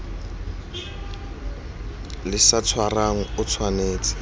le sa tshwarang o tshwanetse